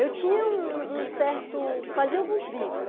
Eu tinha um um certo... fazia alguns bicos, né?